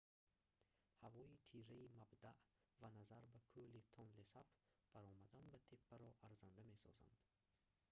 ҳавои тираи мабдаъ ва назар ба кӯли тонлесап баромадан ба теппаро арзанда месозанд